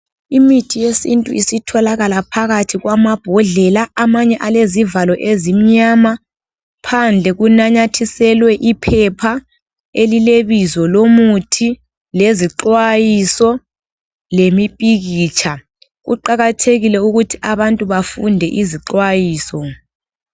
Imithi yesintu isitholakala phakathi kwamabhodlela, amanye alezivalo ezimnyama, phandle kunanyathiselwe iphepha elilebizo lomuthi lezixwayiso lemipikitsha. Kuqakathekile ukuthi abantu bafunde izixwayiso.